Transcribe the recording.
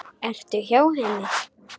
Ertu hjá henni?